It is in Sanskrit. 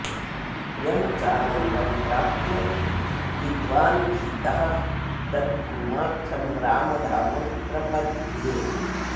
यं चानन्दं प्राप्य विद्वानभीतः तद् भूमाख्यं रामधाम प्रपद्ये